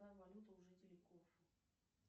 какая валюта у жителей